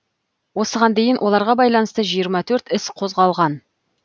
осыған дейін оларға байланысты жиырма төрт іс қозғалған